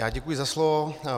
Já děkuji za slovo.